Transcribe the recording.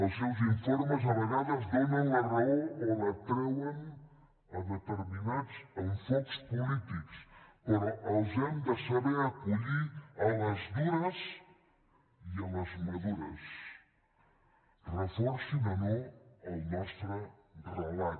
els seus informes a vegades donen la raó o la treuen a determinats enfocs polítics però els hem de saber acollir a les dures i a les madures reforcin o no el nostre relat